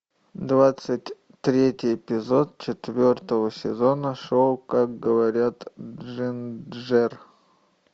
двадцать третий эпизод четвертого сезона шоу как говорит джинджер